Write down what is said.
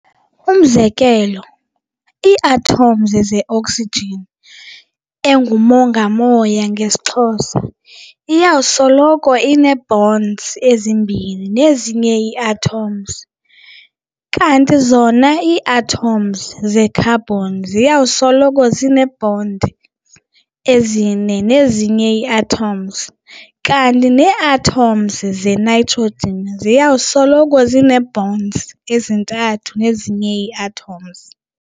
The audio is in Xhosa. Umzekelo, ii-atoms ze-oxygen, engumongo-moya ngesiXhosa, iyakusoloko inee-bonds ezimbini nezinye ii-atoms, kanti zona ii-atoms ze-carbon ziyakusoloko zinee-bonds ezine nezinye ii-atoms, kanti nee-atoms ze-nitrogen ziyakusoloko zinee-bonds ezintathu nezinye ii-atoms.